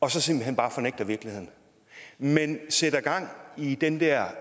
og så simpelt hen bare fornægter virkeligheden man sætter gang i den der